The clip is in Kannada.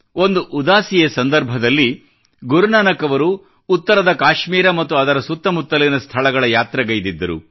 ಒಂದು ಉದಾಸೀಯ ಸಂದರ್ಭದಲ್ಲಿ ಗುರುನಾನಕ್ ಅವರು ಉತ್ತರದ ಕಾಶ್ಮೀರ ಮತ್ತು ಅದರ ಸುತ್ತಮುತ್ತಲಿನ ಸ್ಥಳಗಳ ಯಾತ್ರೆಗೈದಿದ್ದರು